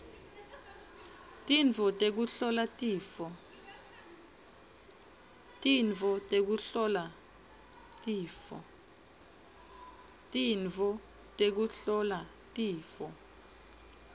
tintfo tekuhlola tifo